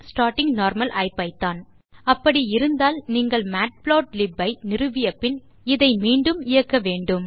starting normal IPython அப்படி இருந்தால் நீங்கள் மேட்புளாட்லிப் ஐ நிறுவி பின் இதை மீண்டும் இயக்க வேண்டும்